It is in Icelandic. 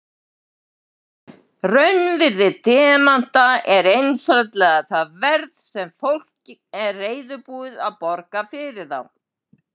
Raunvirði demanta er einfaldlega það verð sem fólk er reiðubúið að borga fyrir þá.